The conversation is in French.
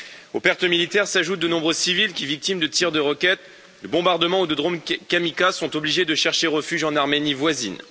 Aux pertes militaires s'ajoutent de nombreux civils qui, victimes de tirs de roquettes, de bombardement ou de drônes kamikazes sont obligés de chercher refuge en Arménie voisine.